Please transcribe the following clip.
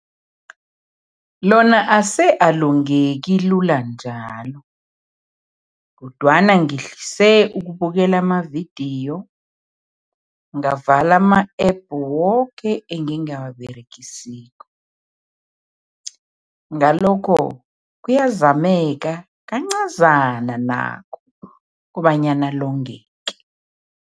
Lona ase alongeki lula njalo kodwana ngihlise ukubukela amavidiyo, ngavala ama-App woke engingawaberegisiko. Ngalokho kuyazameka, kancazana nakho, kobanyana longeke.